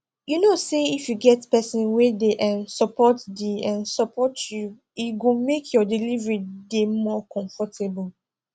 u know say if you get person wey de um support de um support you e go make your delivery de more comfortable